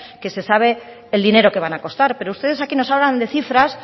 que se sabe el dinero que van a costar pero ustedes aquí nos hablan de cifras